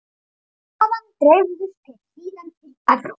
Þaðan dreifðust þeir síðan til Evrópu.